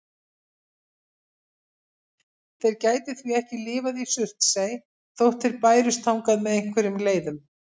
Þeir gætu því ekki lifað í Surtsey þótt þeir bærust þangað með einhverjum leiðum.